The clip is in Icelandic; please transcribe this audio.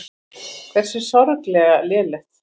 Hversu sorglega lélegt.